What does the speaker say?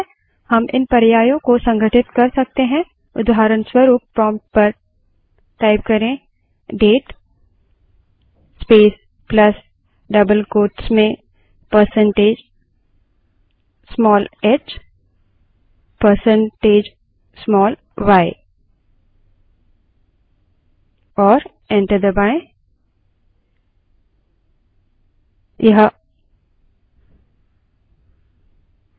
हम इन पर्यायों को संघटित कर सकते हैं उदाहरणस्वरूप prompt पर date space plus double quotes में percentage small h percentage small y type करें और enter दबायें